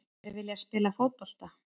Þeir vilja spila fótbolta.